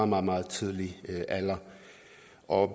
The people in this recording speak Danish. meget meget tidlig alder og